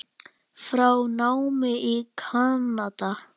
frá námi í Kanada.